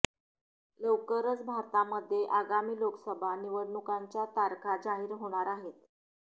लवकरच भारतामध्ये आगामी लोकसभा निवडणूकांच्या तारखा जाहीर होणार आहेत